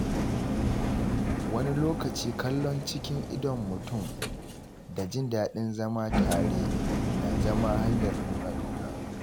Wani lokaci, kallon cikin idon mutum da jin daɗin zama tare na zama hanyar nuna ƙauna.